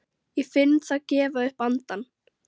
Ég finn það gefa upp andann.